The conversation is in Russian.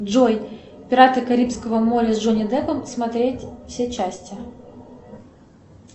джой пираты карибского моря с джонни деппом смотреть все части